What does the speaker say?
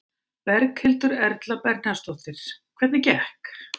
Berghildur Erla Bernharðsdóttir: Hvernig gekk?